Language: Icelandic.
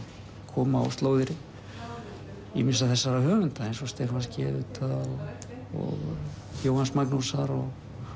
kom á slóðir ýmissa þessara höfunda eins og Stephans g auðvitað og Jóhanns Magnúsar og